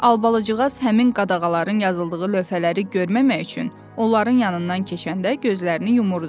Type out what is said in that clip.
Albalıcığaz həmin qadağaların yazıldığı lövhələri görməmək üçün onların yanından keçəndə gözlərini yumurdu.